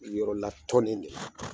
Yɔrɔ la tɔnne de la